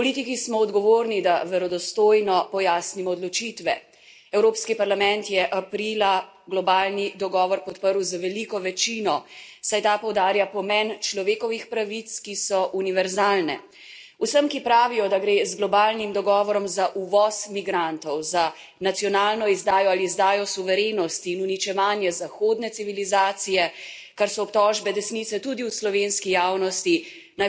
Evropski parlament je aprila globalni dogovor podprl z veliko večino, saj ta poudarja pomen človekovih pravic, ki so univerzalne. Vsem, ki pravijo, da gre z globalnim dogovorom za uvoz migrantov, za nacionalno izdajo ali izdajo suverenosti in uničevanje zahodne civilizacije, kar so obtožbe desnice tudi v slovenski javnosti, naj povem, da je takšno ustrahovanje ljudi napačno in zavajajoče.